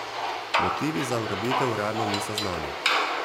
Motivi za ugrabitev uradno niso znani.